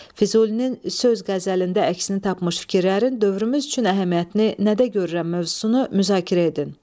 Füzulinin söz qəzəlində əksini tapmış fikirlərin dövrümüz üçün əhəmiyyətini nədə görürəm mövzusunu müzakirə edin.